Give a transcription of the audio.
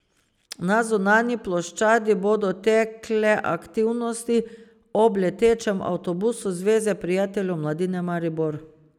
Na zunanji ploščadi bodo tekle aktivnosti ob letečem avtobusu Zveze prijateljev mladine Maribor.